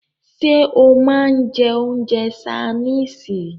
Ṣé o máà ń jẹ́ oúnjẹ ṣaínìisì?